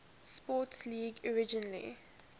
sports league originally